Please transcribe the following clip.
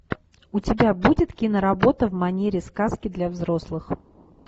у тебя будет киноработа в манере сказки для взрослых